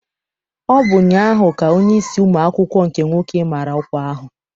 Ọ bụ ụnyaahụ ka onyeisi ụmụ akwụkwọ nke nwoke mara ọkwa ahụ.